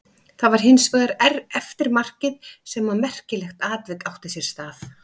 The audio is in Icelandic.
Það var hins vegar eftir markið sem að merkilegt atvik átti sér stað.